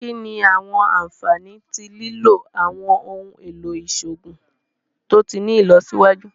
Kini awọn anfani ti lilo awọn ohun elo iṣoogun to ti ni ilọsiwaju?